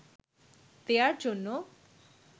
দেয়ার জন্য